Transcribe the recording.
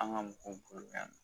An ka mɔgɔw bolo yan